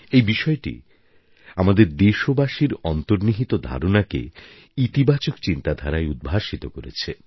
এই বিষয়টি আমাদের দেশবাসীর অন্তর্নিহিত ধারণাকে ইতিবাচক চিন্তাধারায় উদ্ভাসিত করেছে